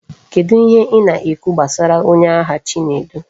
Kedu ihe I na ekwu gbasara onye agha chinedu?